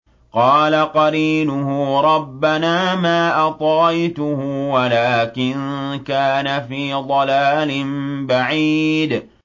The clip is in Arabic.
۞ قَالَ قَرِينُهُ رَبَّنَا مَا أَطْغَيْتُهُ وَلَٰكِن كَانَ فِي ضَلَالٍ بَعِيدٍ